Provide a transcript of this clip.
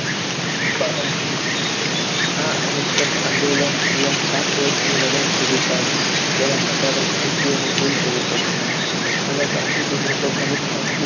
પાલન કર્યું. આ અહિંસક આંદોલન પૂરા સાત વર્ષની મુદત સુધી ચાલ્યું જેમાં હજારો ભારતીયોને જેલ જવું પડ્યું અને ગાંધીજીને તો ઘણી